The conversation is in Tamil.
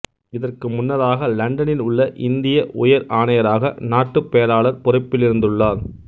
இதற்கு முன்னதாக இலண்டனில் உள்ள இந்திய உயர் ஆணையராக நாட்டுப் பேராளர் பொறுப்பிலிருந்துள்ளார்